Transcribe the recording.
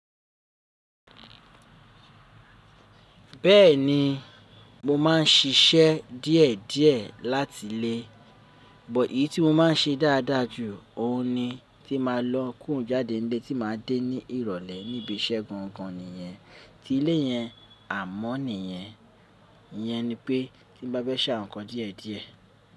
Bẹ́ẹ̀ni mo ma ń siṣẹ́ díẹ̀ díẹ̀ láti ilé but èyí tí mo ma ń ṣe dáadáa jù ó ní tí máa lọ kúrò jáde nílé tí màá dé ní ìrólé níbi iṣẹ́ gangan nìyẹn, ti ilé yẹn àmọ́ nìyẹn. Iyẹn ni pé tí n bá fẹ́ sàwọn nkàn díẹ̀ díẹ̀